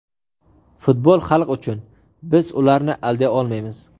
Futbol xalq uchun, biz ularni alday olmaymiz.